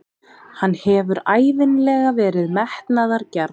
Hann hefur ævinlega verið metnaðargjarn.